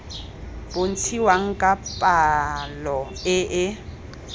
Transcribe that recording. bontshiwang ka palo e e